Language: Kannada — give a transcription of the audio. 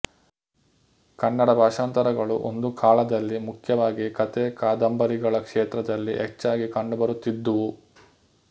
ಕನ್ನಡ ಭಾಷಾಂತರಗಳು ಒಂದು ಕಾಲದಲ್ಲಿ ಮುಖ್ಯವಾಗಿ ಕಥೆ ಕಾದಂಬರಿಗಳ ಕ್ಷೇತ್ರದಲ್ಲಿ ಹೆಚ್ಚಾಗಿ ಕಂಡುಬರುತ್ತಿದ್ದುವು